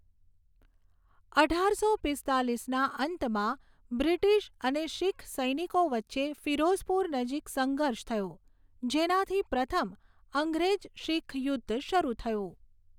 અઢારસો પીસ્તાલીસના અંતમાં, બ્રિટિશ અને શીખ સૈનિકો વચ્ચે ફિરોઝપુર નજીક સંઘર્ષ થયો, જેનાથી પ્રથમ અંગ્રેજ શીખ યુદ્ધ શરૂ થયું.